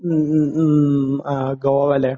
മ്മ്. മ്മ്. മ്മ്. ആഹ്. ഗോവ അല്ലെ.